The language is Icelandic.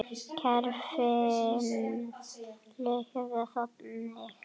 Kerfið virkar þannig.